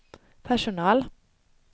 personal